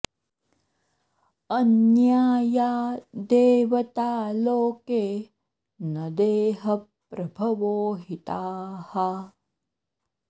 अन्या या देवता लोके न देहप्रभवो हि ताः